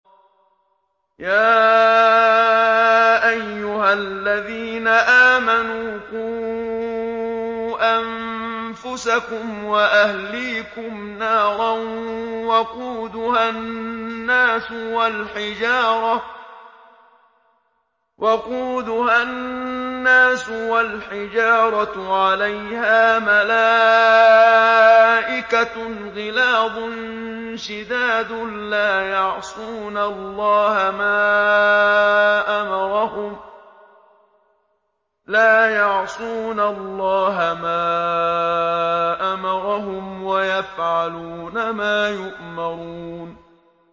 يَا أَيُّهَا الَّذِينَ آمَنُوا قُوا أَنفُسَكُمْ وَأَهْلِيكُمْ نَارًا وَقُودُهَا النَّاسُ وَالْحِجَارَةُ عَلَيْهَا مَلَائِكَةٌ غِلَاظٌ شِدَادٌ لَّا يَعْصُونَ اللَّهَ مَا أَمَرَهُمْ وَيَفْعَلُونَ مَا يُؤْمَرُونَ